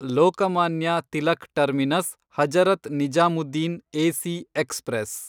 Lokmanya Tilak terminus Hazrat Nizamuddin AC express